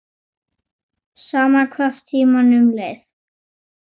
Sama hvað tímanum leið.